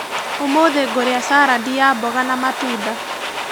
ũmũthĩ ngũria carandi ya mboga na matunda.